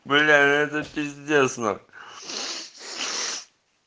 бля это пиздец нахуй